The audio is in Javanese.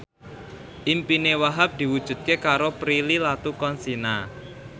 impine Wahhab diwujudke karo Prilly Latuconsina